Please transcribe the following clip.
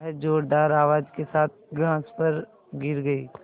वह ज़ोरदार आवाज़ के साथ घास पर गिर गई